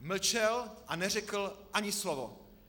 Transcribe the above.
Mlčel a neřekl ani slovo.